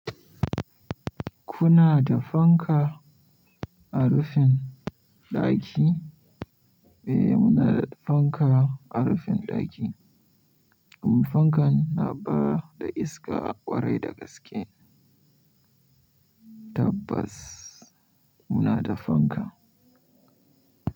Kuna da fanka a rufin ɗaki? Eh muna da fanka a rufin ɗaki. Amma fankan na bada iska ƙwarai da gaske. Tabbas muna da fanka.